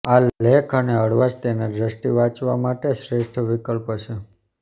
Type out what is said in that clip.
આ લેખ અને હળવાશ તેના દ્રષ્ટિ વાંચવા માટે શ્રેષ્ઠ વિકલ્પ છે